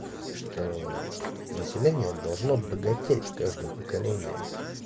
что население должно богатеть с каждым поколением